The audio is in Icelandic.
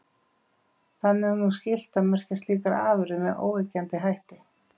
Þannig er nú skylt að merkja slíkar afurðir með óyggjandi hætti.